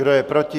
Kdo je proti?